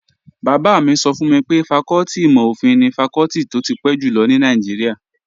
Bàbá mi sọ fún mi pé fakọ́tì ìmò-òfin ni fakọ́tì tó ti pẹ́ jùlọ ní Nàìjíríà